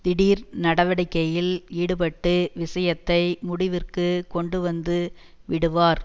திடீர் நடவடிக்கைளில் ஈடுபட்டு விஷயத்தை முடிவிற்குக் கொண்டுவந்து விடுவார்